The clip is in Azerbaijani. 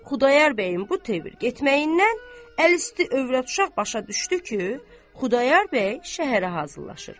Xudayar bəyin bu tövr getməyindən əl üstü övrət uşaq başa düşdü ki, Xudayar bəy şəhərə hazırlaşır.